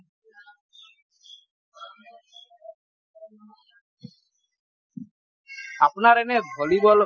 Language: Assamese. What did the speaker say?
আপোনাৰ এনেই ভলীবল